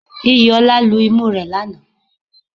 Iyìolá lu imú rẹ̀ lanàá